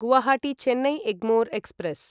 Guwahati Chennai Egmore express